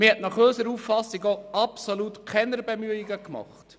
Man hat nach unserer Auffassung absolut keine Bemühungen unternommen.